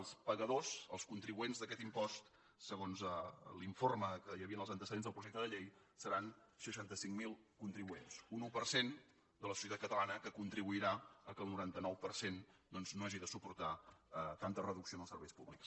els pagadors els contribuents d’aquest impost segons l’informe que hi havia en els antecedents dels projecte de llei seran seixanta cinc mil contribuents un un per cent de la societat catalana que contribuirà que el noranta nou per cent no hagi de suportar tanta reducció en els serveis públics